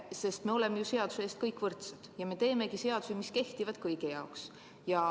Me kõik oleme ju seaduse ees võrdsed ja me teeme seadusi, mis kehtivad kõigi jaoks.